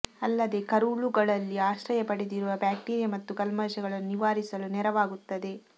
ಅಲ್ಲದೇ ಕರುಳುಗಳಲ್ಲಿ ಆಶ್ರಯ ಪಡೆದಿರುವ ಬ್ಯಾಕ್ಟೀರಿಯಾ ಮತ್ತು ಕಲ್ಮಶಗಳನ್ನು ನಿವಾರಿಸಲು ನೆರವಾಗುತ್ತದೆ